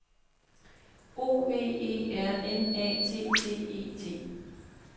O V E R N A T T E T